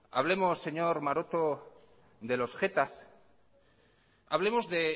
hablemos señor maroto de los jetas hablemos de